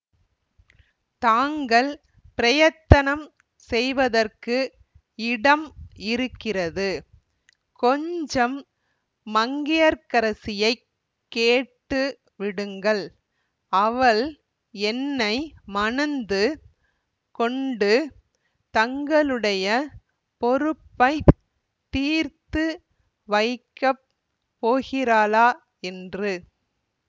தாங்கள் பிரயத்தனம் செய்வதற்கு இடம் இருக்கிறது கொஞ்சம் மங்கையர்க்கரசியைக் கேட்டு விடுங்கள் அவள் என்னை மணந்து கொண்டு தங்களுடைய பொறுப்பைத் தீர்த்து வைக்க போகிறாளா என்று